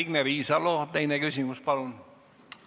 Signe Riisalo, teine küsimus palun!